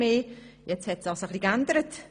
Das hat sich nun etwas geändert.